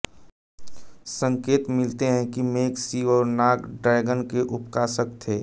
संकेत मिलते हैं कि मेघ शिव और नाग ड्रैगन के उपासक थे